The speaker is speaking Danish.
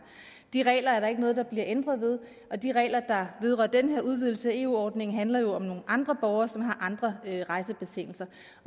de regler er der ikke noget der bliver ændret ved og de regler der vedrører den her udvidelse af eu ordningen handler jo om nogle andre borgere som har andre rejsebetingelser